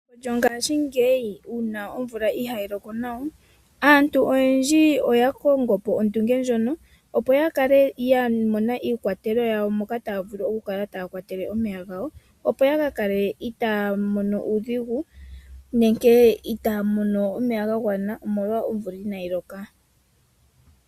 Mongashingeyi uuna omvula inaayi loka nawa, aantu oyendji oyakongo po ondunge opo ya kale yamona iikwatelwa yokukwatelwa omeya, ya kale itaaya mono uudhigu ngele omvula inayi loka.